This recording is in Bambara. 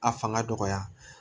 A fanga dɔgɔya